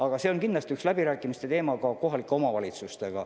Aga see on kindlasti üks teema ka läbirääkimistel kohalike omavalitsustega.